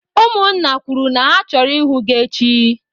Ụmụ nna kwuru na ha chọrọ ịhụ gị echi!